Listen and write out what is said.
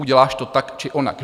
Uděláš to tak či onak.